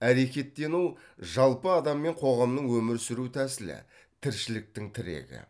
әрекеттену жалпы адам мен қоғамның өмір сүру тәсілі тіршіліктің тірегі